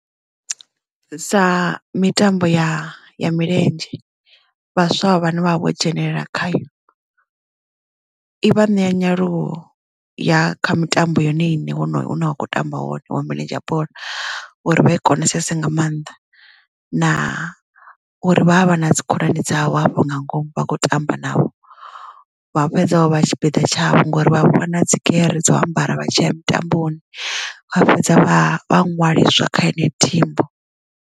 Sa mitambo ya milenzhe vhaswa vhane vha vha vho dzhenelela khayo i vha ṋea nyaluwo ya kha mitambo yo ne iṋe hune wa kho tamba hone wa milenzhe ya bola uri vha i konesese nga maanḓa na uri vha havha na dzikhonani dzavho hafho nga ngomu vha kho tamba navho vha fhedza vho vha tshipiḓa tshavho ngori vha vha ṋea na dzigere dza u ambara vha tshi ya mitamboni kha fhedza ṅwaliswa kha heneyo thimu.